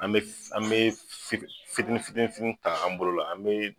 An bɛ an bɛ fit fitini fitini fitini fitini ta an bolo la an bɛ.